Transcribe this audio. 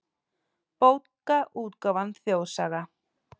Bókaútgáfan Þjóðsaga.